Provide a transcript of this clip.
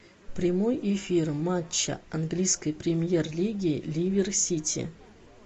прямой эфир матча английской премьер лиги ливер сити